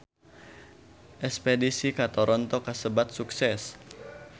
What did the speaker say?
Espedisi ka Toronto kasebat sukses